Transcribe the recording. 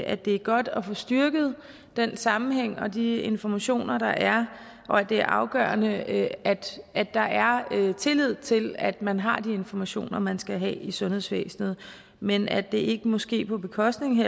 at det er godt at få styrket den sammenhæng og de informationer der er og at det er afgørende at at der er tillid til at man har de informationer man skal have i sundhedsvæsenet men at det ikke må ske på bekostning